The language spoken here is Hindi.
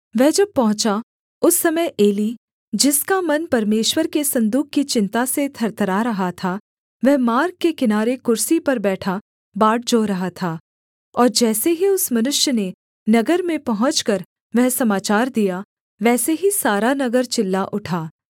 वह जब पहुँचा उस समय एली जिसका मन परमेश्वर के सन्दूक की चिन्ता से थरथरा रहा था वह मार्ग के किनारे कुर्सी पर बैठा बाट जोह रहा था और जैसे ही उस मनुष्य ने नगर में पहुँचकर वह समाचार दिया वैसे ही सारा नगर चिल्ला उठा